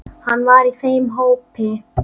Hann var í þeim hópi.